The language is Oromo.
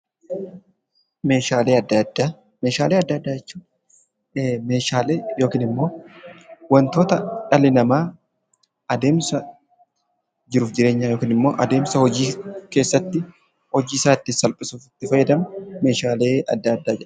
Meeshaalee adda addaa jechuun meeshaalee yookiin immoo wantoota dhalli namaa adeemsa jiruuf jireenya yookiin immoo adeemsa hojii keessatti hojiisaa ittiin salphisuuf itti fayyadamu meeshaalee adda addaa jenna.